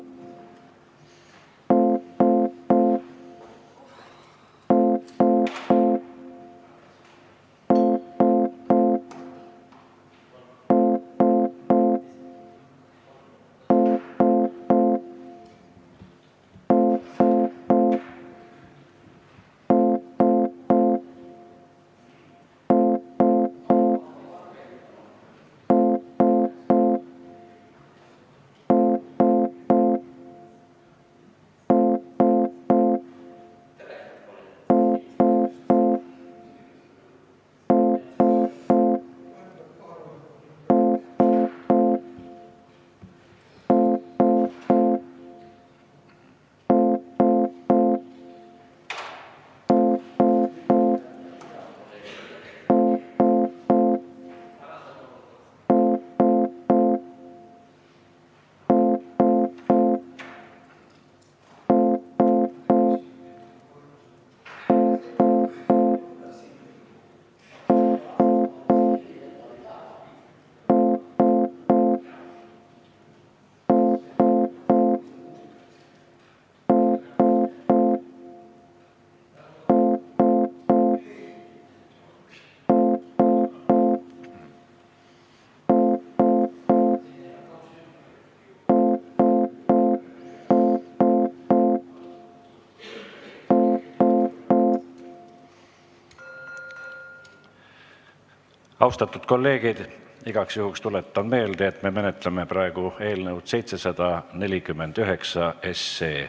Austatud kolleegid, igaks juhuks tuletan meelde, et me menetleme praegu eelnõu 749.